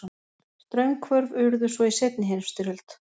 Straumhvörf urðu svo í seinni heimsstyrjöld.